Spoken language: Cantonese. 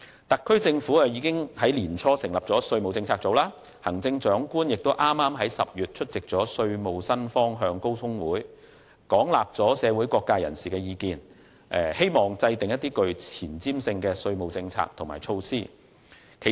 特區政府已於年初成立稅務政策組，行政長官亦剛於10月出席稅務新方向高峰會，廣納社會各界人士的意見，希望制訂具前瞻性的稅務政策和措施。